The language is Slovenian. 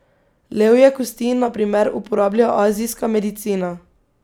Levje kosti na primer uporablja azijska medicina.